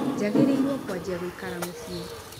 Njagĩrĩirwo kũanjia gũikara Mũciĩ